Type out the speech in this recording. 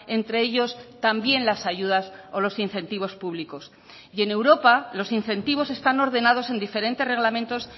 entre ellos también las ayudas o los incentivos públicos y en europa los incentivos están ordenados en diferentes reglamentos